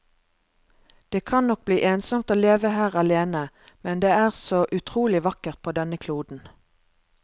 Det kan nok bli ensomt å leve her alene, men det er så utrolig vakkert på denne kloden.